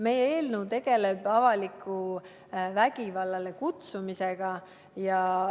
Meie eelnõu tegeleb avaliku vägivallale kutsumisega.